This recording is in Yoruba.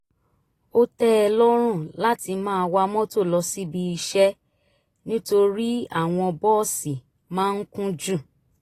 ó tẹ́ ẹ lọ́rùn láti wa mọ́tò lọ síbi iṣẹ́ nítorí àwọn bọ́ọ̀sì máa ń kún jù